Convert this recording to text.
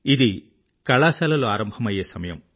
ఇది కళాశాలలు ఆరంభమయ్యే సమయం